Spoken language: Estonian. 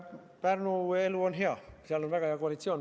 Pärnu elu on hea, seal on praegu muide väga hea koalitsioon.